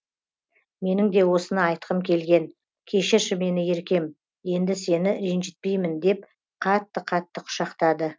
менің де осыны айтқым келген кешірші мені еркем енді сені ренжітпеймін деп қатты қатты құшақтады